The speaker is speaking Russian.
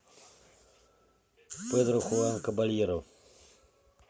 педро хуан кабальеро